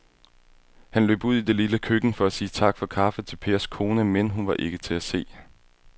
Han løb ud i det lille køkken for at sige tak for kaffe til Pers kone, men hun var ikke til at se.